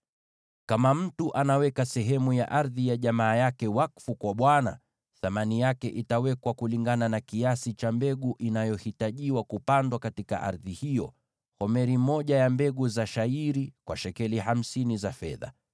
“ ‘Kama mtu anaweka sehemu ya ardhi ya jamaa yake wakfu kwa Bwana , thamani yake itawekwa kulingana na kiasi cha mbegu inayohitajiwa kupandwa katika ardhi hiyo, yaani homeri moja ya mbegu za shayiri kwa shekeli hamsini za fedha.